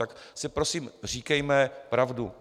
Tak si prosím říkejme pravdu.